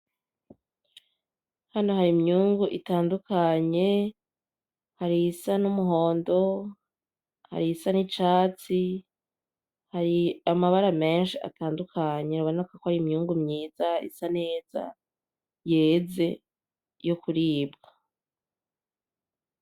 Hano hari imyungu itandukanye, hari iyisa numuhondo ; hari iyisa nicatsi ; hari amabara menshi atandukanye biboneka ko ari imyungu myiza isa neza yeze yo kuribwa.